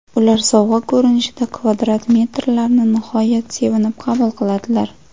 Ular sovg‘a ko‘rinishida kvadrat metrlarni nihoyat sevinib qabul qiladilar.